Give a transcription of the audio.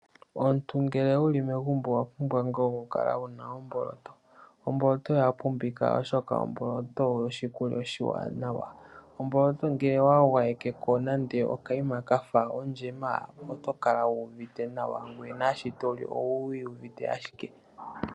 Omuntu ngele wuli megumbo owa pumbwa nga oku kala wuna omboloto, omboloto oya pumbika oshoka omboloto oyo oshikulya oshiwanawa. Omboloto nge wa gwayeke ko nande okaima kafa ondjema oto kala wu uvite nawa nangoye shi to li owu iyuvite ashike.